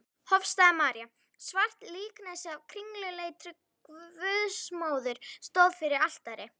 Hofsstaða-María, svart líkneski af kringluleitri Guðsmóður, stóð fyrir altari.